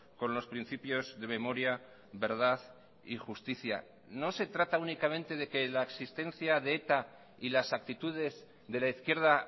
con los principios de memoria verdad y justicia no se trata únicamente de que la existencia de eta y las actitudes de la izquierda